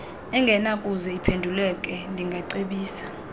engenakuze iphenduleke ndingacebisa